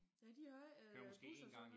Ja de ikke øh busser og sådan noget